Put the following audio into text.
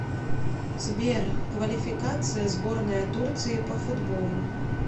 сбер квалификация сборная турции по футболу